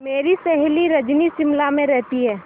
मेरी सहेली रजनी शिमला में रहती है